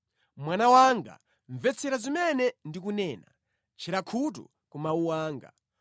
Mwana wanga, mvetsetsa zimene ndikunena; tchera khutu ku mawu anga.